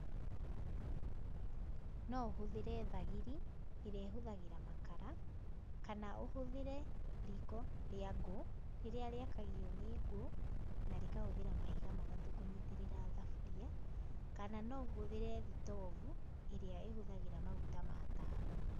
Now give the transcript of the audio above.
No ũhũthĩre thagiri, ĩrĩa ĩhũthagĩra makara, kana ũhũthĩre riiko rĩa ngũ, rĩrĩa rĩakagio nĩ ngũ na rĩkahũthĩra mahiga matatũ kũnyitĩrĩra thaburia, kana no ũhũthĩre thitobu, ĩrĩa ĩhũthagĩra maguta ma tawa.